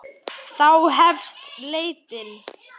Þá hefst leitin.